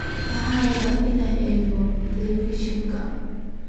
Waxan rabaa inan eego televishionka.